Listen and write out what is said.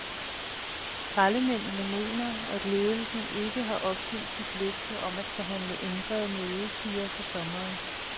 Skraldemændene mener, at ledelsen ikke har opfyldt sit løfte om at forhandle ændrede mødetider for sommeren.